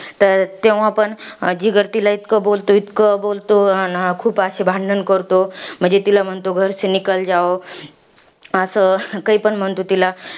तर तेव्हा पण जिगर तिला इतकं बोलतो, इतकं बोलतो, अन अशी भांडणं करतो. म्हणजे तिला म्हणतो असं काहीपण म्हणतो तिला.